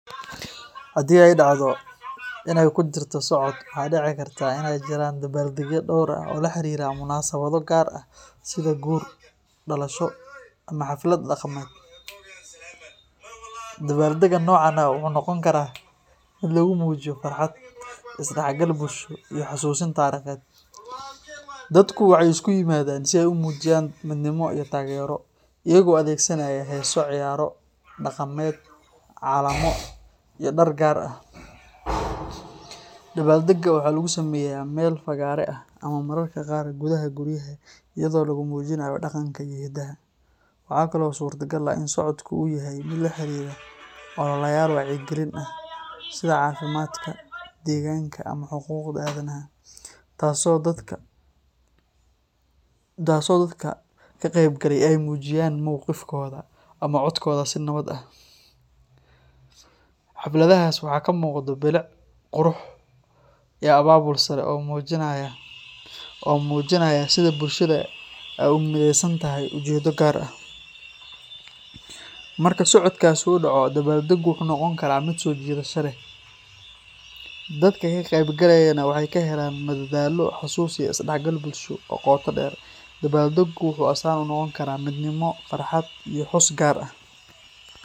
Haddii ay dhacdo in ay ku jirto socod, waxaa dhici karta in ay jiraan dabaaldegyo dhowr ah oo la xiriira munaasabado gaar ah sida guur, dhalasho, ama xaflad dhaqameed. Dabaaldegga noocan ah wuxuu noqon karaa mid lagu muujiyo farxad, is-dhexgal bulsho iyo xasuusin taariikheed. Dadku waxay isku yimaadaan si ay u muujiyaan midnimo iyo taageero, iyagoo adeegsanaya heeso, ciyaaro dhaqameed, calamo, iyo dhar gaar ah. Dabaaldegga waxaa lagu sameeyaa meel fagaare ah ama mararka qaar gudaha guryaha iyadoo lagu muujinayo dhaqanka iyo hidaha. Waxaa kale oo suurtagal ah in socodku uu yahay mid la xiriira ololayaal wacyigelin ah sida caafimaadka, deegaanka ama xuquuqda aadanaha, taas oo dadka ka qaybgalaya ay muujinayaan mowqifkooda ama codkooda si nabad ah. Xafladahaas waxaa ka muuqda bilic, qurux, iyo abaabul sare oo muujinaya sida bulshada ay ugu mideysan tahay ujeeddo gaar ah. Marka socodkaasi uu dhaco, dabaaldeggu wuxuu noqon karaa mid soo jiidasho leh, dadka ka qaybgalayana waxay ka helaan madadaalo, xasuus iyo is-dhexgal bulsho oo qoto dheer. Dabaaldeggu wuxuu astaan u noqon karaa midnimo, farxad iyo xus gaar ah.